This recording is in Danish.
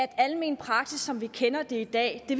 almen praksis som vi kender det i dag vi